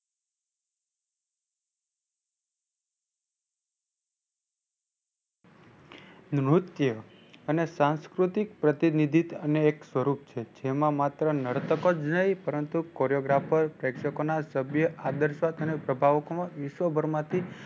નૃત્ય અને સાંસ્કૃતિક પ્રતિનિધિ અને એક સ્વરૂપ છે જેમાં માત્ર નડતક જ નહીં પરંતુ coreographer પ્રેક્ષકો ના સભ્ય વિશ્વભર માંથી